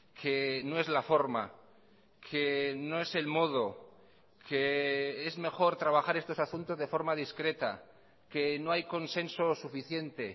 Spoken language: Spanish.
que no es la forma que no es el modo que es mejor trabajar estos asuntos de forma discreta que no hay consenso suficiente